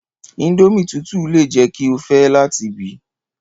Indomie tutu le jẹ ki o fẹ lati bi